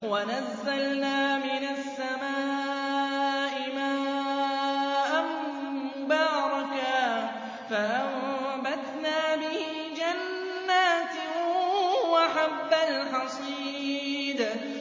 وَنَزَّلْنَا مِنَ السَّمَاءِ مَاءً مُّبَارَكًا فَأَنبَتْنَا بِهِ جَنَّاتٍ وَحَبَّ الْحَصِيدِ